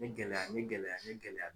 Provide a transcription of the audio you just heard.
Ni gɛlɛya ni gɛlɛya ni gɛlɛya